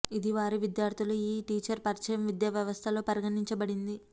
ఇది వారి విద్యార్థులు ఈ టీచరు పరిచయం విద్యా వ్యవస్థలో పరిగణించబడింది